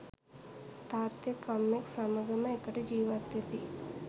තාත්තෙක් අම්මෙක් සමගම එකට ජීවත්වෙති